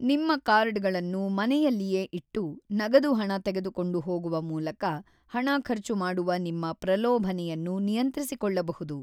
ನಿಮ್ಮ ಕಾರ್ಡ್‌ಗಳನ್ನು ಮನೆಯಲ್ಲಿಯೇ ಇಟ್ಟು, ನಗದು ಹಣ ತೆಗೆದುಕೊಂಡು ಹೋಗುವ ಮೂಲಕ ಹಣ ಖರ್ಚು ಮಾಡುವ ನಿಮ್ಮ ಪ್ರಲೋಭನೆಯನ್ನು ನಿಯಂತ್ರಿಸಿಕೊಳ್ಳಬಹುದು.